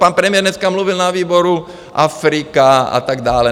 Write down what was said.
Pan premiér dneska mluvil na výboru, Afrika a tak dále.